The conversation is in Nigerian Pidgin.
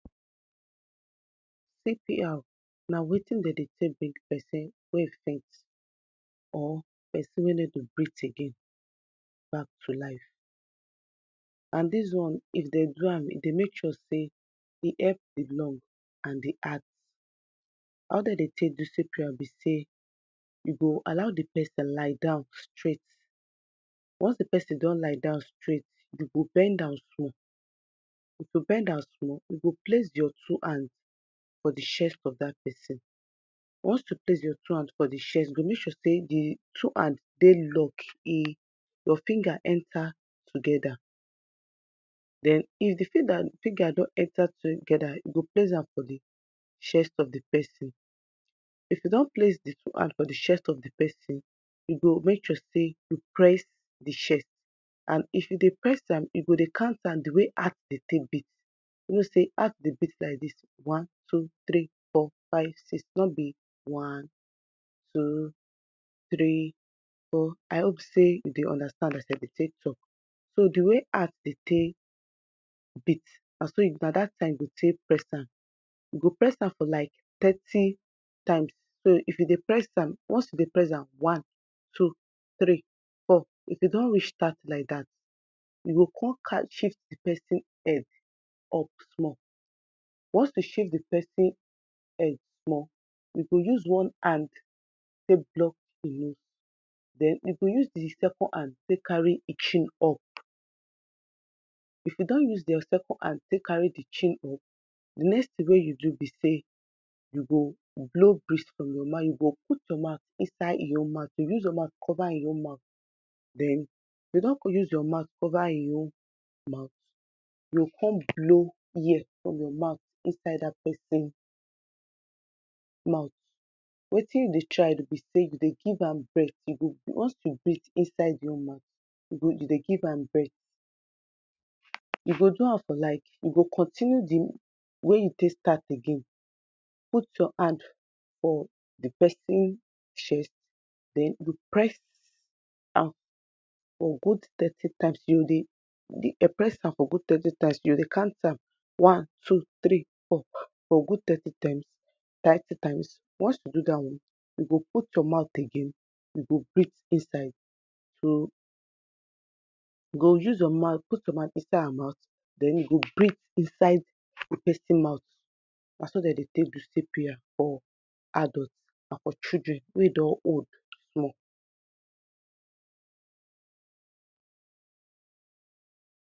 Dis picture dey show some group of people wey dey gather for one stage abi na platform wey dem dey stand on top as in dey wear traditional cloth wey look like say na yoruba abi na igbo culture. Di people dey stand, some of dem dey kneel down and dem dry look like dem dey participate for one ceremony or ritual. Di attire wey dem dey wear dey colourful and rich with patterns and design wey dey unique to di culture wey dem dey represent, for the left side of the picture of some people dey stand wearing um dem dey wear red dress, dem dry look like say dem dey watch di people wey dey kneel down for the right side, some people dey kneel down too wearing white robe, dem dey look like say dem dey pray abi dem dey receive blessing. One person wey dey stand for center of the picture dey wear white robe and na him dey look like say e dey lead di ceremony, him dry stand with e hand raise and he dey look like say him dey pray or him dey bless di people wey dey kneel down. Di background of di picture dey show one big screen wey dey display images and videos for the people, di screen fry show some people wey dey wear traditional attire and dem dey look like say dem dey participate for the ceremony wey dey happen for dat place. Di atmosphere of di picture dey suggest say something important and sackled, something wey scak wey dey very very important dey happen for día, di people wey participate for di ceremony dey look like say dem dey very serious and focus and wetin dey happen for dis place now na di ritual wey dey dey, na cultural tradition wey dis people get, dey for dey do something wey na wetin dem dey believe in as a people, as a culture na wetin dem dey do for dis place now because say na di way dem dey do am, di way día papá dem, día forefathers wey don live for día life before dem don dey do am so na why dem dey follow do am cos na di culture, na who dem bí bí dat. So di important of dis attire wey dem dey do bí say dem dey follow di footstep of dia Papa dem, dia forefathers, people wey don come before dem, di picture dey give us, tell us wetin dis cultural and spiritual practices di people dey participate in for dis ceremony, e dey show di importance of tradition and community for di people so base on dis picture, dis attire wey dis ceremony dey get so I think say the picture dey show say either di Yoruba people abi di igbó people depending on who did people really bi, e, di culture and tradition of dem kneeling down and um raising día hand and whatever dey happen for dis place dey very important to dem because dem dey serious and focus in di matter wey dey come to do for dis place.